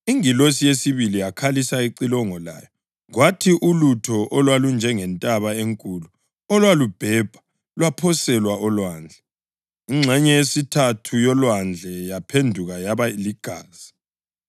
Ingilosi yesibili yakhalisa icilongo layo, kwathi ulutho olwalunjengentaba enkulu olwalubhebha, lwaphoselwa olwandle. Ingxenye yesithathu yolwandle yaphenduka yaba ligazi,